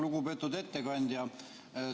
Lugupeetud ettekandja!